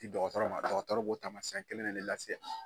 di dɔgɔtɔrɔ ma dɔgɔtɔrɔ b'o taamasiyɛn kelen de lase